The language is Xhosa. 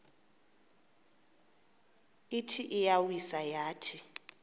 ithi iyawisa yathi